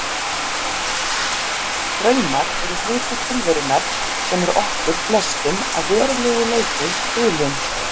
Draumar eru hluti tilverunnar sem er okkur flestum að verulegu leyti hulinn.